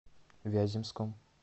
вяземском